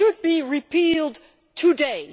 It should be repealed today.